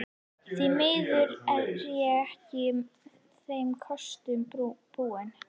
Því miður er ég ekki þeim kostum búin.